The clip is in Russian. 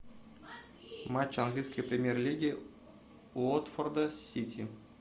матч английской премьер лиги уотфорда с сити